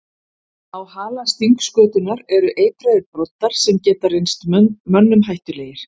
Á hala stingskötunnar eru eitraðir broddar sem geta reynst mönnum hættulegir.